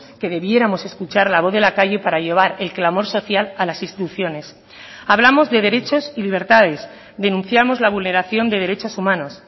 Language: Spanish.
que debiéramos escuchar la voz de la calle para llevar el clamor social a las instituciones hablamos de derechos y libertades denunciamos la vulneración de derechos humanos